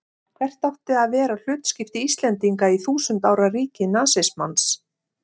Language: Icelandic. Hvert átti að vera hlutskipti Íslendinga í þúsund ára ríki nasismans?